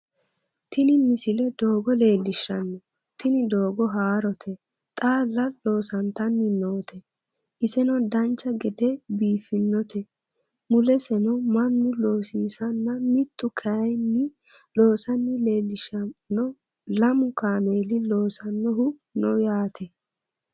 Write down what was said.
tini misile doogo leellishshanno tini doogono haarote xaalla loosantanni noote iseno dancha gede biiffinote mulesono mannu loosiisanna mitu kayeenni loosanna leellishshanno lamu kameeli loosannohu no yaate